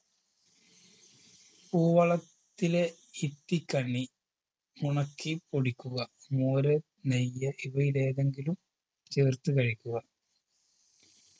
പൂവളത്തിലെ ഇത്തിക്കണ്ണി ഉണക്കി പൊടിക്കുക മോര് നെയ്യ് ഇവയിലേതെങ്കിലും ചേർത്ത് കഴിക്കുക